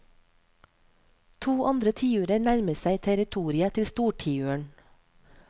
To andre tiurer nærmer ser territoriet til stortiuren.